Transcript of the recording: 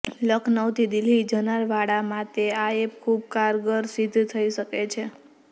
લખનઉથી દિલ્હી જનાર વાળા માતે આ એપ ખૂબ કારગર સિદ્ધ થઈ શકે છે